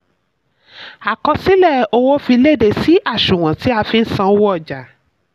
àkọsílẹ̀: owó fi léde sí àṣùwọ̀n tí a fi n sanwó ọjà.